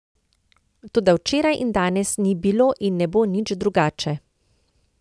Toda včeraj in danes ni bilo in ne bo nič drugače.